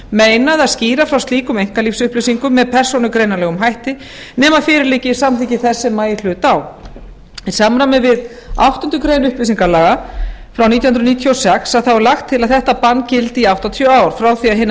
meinað að skýra frá slíkum einkalífsupplýsingum með persónugreinanlegum hætti nema fyrir liggi samþykki þess sem í hlut á í samræmi við ákvæði áttundu greinar upplýsingalaga frá nítján hundruð níutíu og sex er lagt til að þetta bann gildi í áttatíu ár frá því að